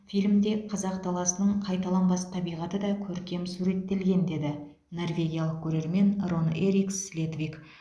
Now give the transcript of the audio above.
фильмде қазақ даласының қайталанбас табиғаты да көркем суреттелген деді норвегиялық көрермен рон эрик слетвик